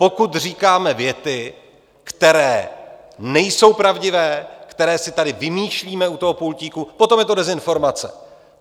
Pokud říkáme věty, které nejsou pravdivé, které si tady vymýšlíme u toho pultíku, potom je to dezinformace.